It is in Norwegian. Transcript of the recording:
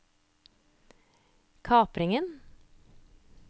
kapringen